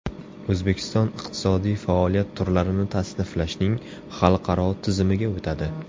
O‘zbekiston iqtisodiy faoliyat turlarini tasniflashning xalqaro tizimiga o‘tadi.